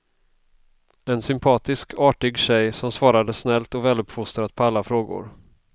En sympatisk, artig tjej som svarade snällt och väluppfostrat på alla frågor.